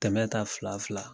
Tɛmɛ ta fila fila